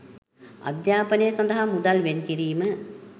අධ්‍යාපනය සඳහා මුදල් වෙන් කිරීම